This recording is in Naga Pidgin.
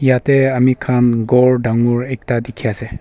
yate ami khan ghor dangor ekta dikhi ase.